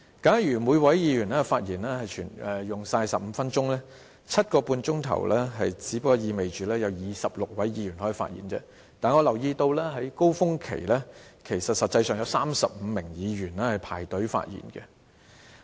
假如每位議員發言用盡15分鐘 ，7.5 小時只不過意味有26位議員可以發言，但我留意到在高峰期有35名議員輪候發言。